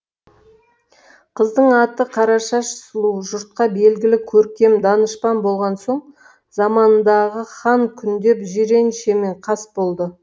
қыздың аты қарашаш сұлу жұртқа белгілі көркем данышпан болған соң заманындағы хан күңдеп жиреншемен қас болды